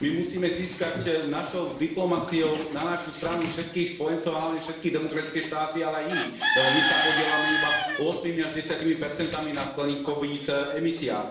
My musíme získať našou diplomaciou na našu stranu všetkých spojencov, a hlavne všetky demokratické štáty, ale aj iných, lebo my sa podieľame iba ôsmimi až desiatimi percentami na skleníkových emisiách.